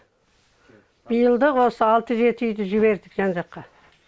биыл да осы алты жеті үйді жібердік жан жаққа